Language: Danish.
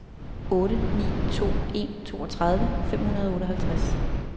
otte ni to en toogtredive fem hundrede og otteoghalvtreds